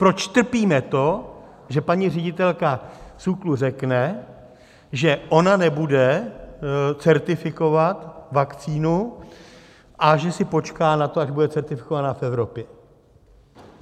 Proč trpíme to, že paní ředitelka SÚKLu řekne, že ona nebude certifikovat vakcínu a že si počká na to, až bude certifikovaná v Evropě?